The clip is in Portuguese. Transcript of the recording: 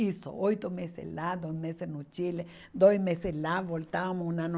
Isso, oito meses lá, dois meses no Chile, dois meses lá, voltávamos um ano